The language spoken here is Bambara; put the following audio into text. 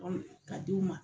Ka di' u ma.